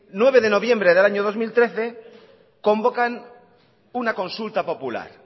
nueve de noviembre del año dos mil trece convocan una consulta popular